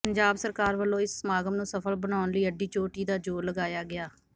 ਪੰਜਾਬ ਸਰਕਾਰ ਵਲੋਂ ਇਸ ਸਮਾਗਮ ਨੂੰ ਸਫਲ ਬਣਾਉਣ ਲਈ ਅੱਡੀ ਚੋਟੀ ਦਾ ਜ਼ੋਰ ਲਗਾਇਆ ਗਿਆ